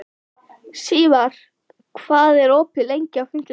Sívar, hvað er opið lengi á fimmtudaginn?